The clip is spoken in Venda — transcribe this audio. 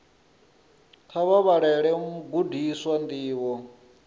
kha vha vhalele vhagudiswa ndivho